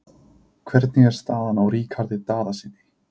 Hvernig er staðan á Ríkharði Daðasyni?